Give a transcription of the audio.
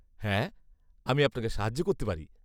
হ্যাঁ, আমি আপনাকে সাহায্য করতে পারি।